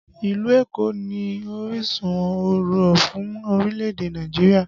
Ìlú Èkó ni orísun ọ̀rọ̀ fún orílẹ̀ èdè Nàìjíríà